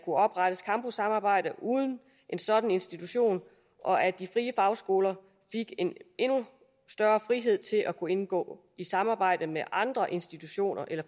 oprettes campussamarbejde uden en sådan institutioner og at de frie fagskoler fik en endnu større frihed til at kunne indgå i samarbejde med andre institutioner eller